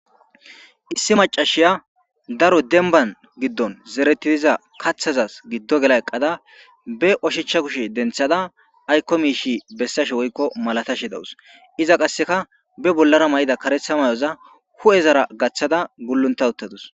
Issi macashiya daro denban giddon zeretidiza kathazas giddo gela eqqada be oshicha kushe denthada aykko miishi bessashe woykko malatashe dawus iza qasseka be bollara may7ida karetha mayoza hu7ezara gaththada gullunta uttadus.